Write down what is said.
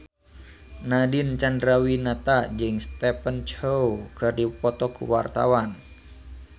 Nadine Chandrawinata jeung Stephen Chow keur dipoto ku wartawan